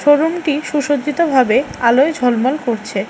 রুমটি সুসজ্জিতভাবে আলোয় ঝলমল করছে।